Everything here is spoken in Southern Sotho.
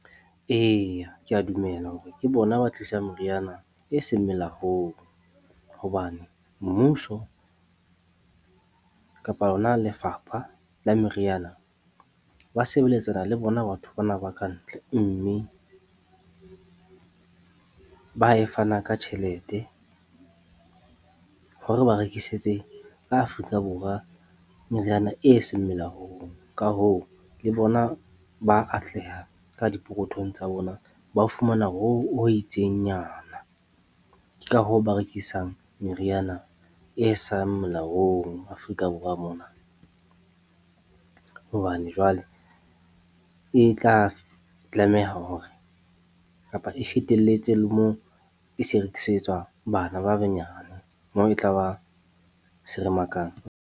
Eya, ke a dumela hore ke bona ba tlisa meriana e seng melaong hobane mmuso kapa hona lefapha la meriana ba sebeletsana le bona batho bana ba ka ntle. Mme ba e fana ka tjhelete hore ba rekisetse ka Afrika Borwa meriana eseng melaong. Ka hoo, le bona ba atleha ka dipokothong tsa bona, ba fumana ho itseng nyana. Ke ka hoo ba rekisang meriana eseng molaong Afrika Borwa mona hobane jwale e tla tlameha hore kapa e fetelletse le moo e se e rekisetswa le bana ba banyane, moo e tla ba seremakang.